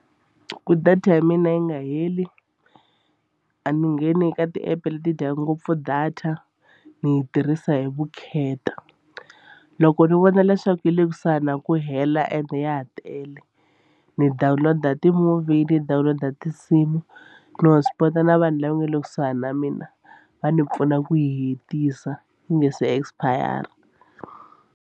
Ku data ya mina yi nga heli a ni ngheni ka ti-app leti dyaka ngopfu data ni yi tirhisa hi vukheta. Loko ni vona leswaku yi le kusuhani na ku hela and ya ha tele ni download-a ti-movie ni download-a tinsimu ni hotspot-a na vanhu lava nga le kusuhana na mina va ndzi pfuna ku hetisa ku nga se expire.